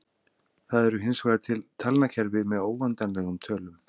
Það eru hinsvegar til talnakerfi með óendanlegum tölum.